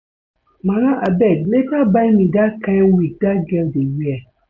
Mama abeg later buy me dat kin wig dat girl dey wear